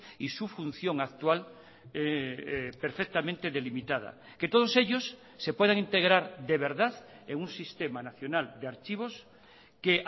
y su función actual perfectamente delimitada que todos ellos se puedan integrar de verdad en un sistema nacional de archivos que